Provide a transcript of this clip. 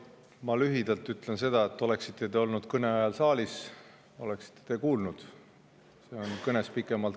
Ma lühidalt ütlen seda, et kui te oleksite olnud kõne ajal saalis, oleksite ka kuulnud.